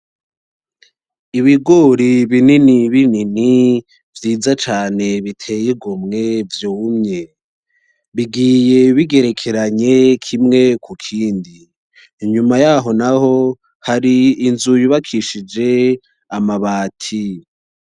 ibigori binini binini vyiza cane biteye igomwe vyumye bigiye bigerekeranye kimwe kukindi inyumayaho naho hari inzu yubakishije amabati